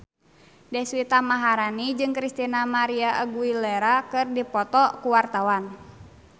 Deswita Maharani jeung Christina María Aguilera keur dipoto ku wartawan